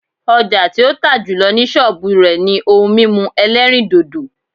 Ọjà tí ó tà jùlọ ni sọ́ọ̀bù rẹ̀ ni ohun mímu ẹlẹ́rìndòdò